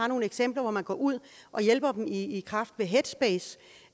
nogle eksempler hvor man går ud og hjælper dem i i kraft af headspace